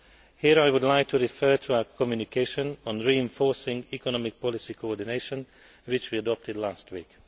Here, I would like to refer to our communication on reinforcing economic policy coordination, which we adopted last week.